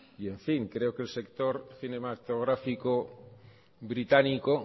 y en fin creo que el sector cinematográfico británico